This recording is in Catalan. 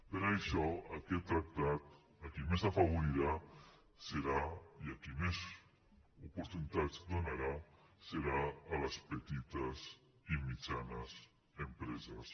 per això aquest tractat a qui més afavorirà i a qui més oportunitats donarà serà a les petites i mitjanes empreses